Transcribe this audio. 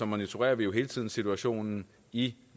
monitorerer vi jo hele tiden situationen i